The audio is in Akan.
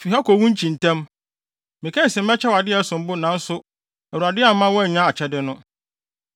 Fi ha kɔ wo nkyi ntɛm! Mekae se mɛkyɛ wo ade a ɛsom bo nanso, Awurade amma woannya akyɛde no.”